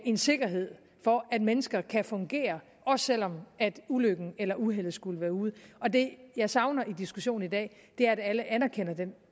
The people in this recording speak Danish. en sikkerhed for at mennesker kan fungere også selv om ulykken eller uheldet skulle være ude og det jeg savner i diskussionen i dag er at alle anerkender den